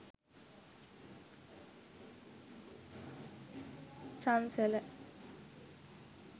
sansala